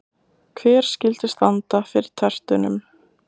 Hver skyldi standa fyrir tertunum?